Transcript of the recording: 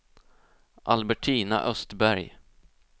Albertina Östberg